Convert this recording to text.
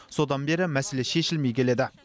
содан бері мәселе шешілмей келеді